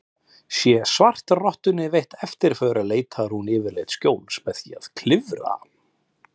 Sé svartrottunni veitt eftirför leitar hún yfirleitt skjóls með því að klifra.